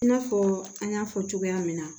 I n'a fɔ an y'a fɔ cogoya min na